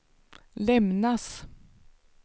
lämnas